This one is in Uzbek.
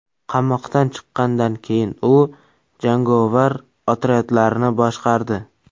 Qamoqdan chiqqandan keyin u jangovar otryadlarni boshqardi.